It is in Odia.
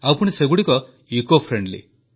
ଆଉପୁଣି ସେଗୁଡ଼ିକ ଇକୋଫ୍ରେଣ୍ଡଲି